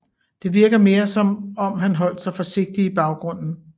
Det virker mere som om han holdt sig forsigtigt i baggrunden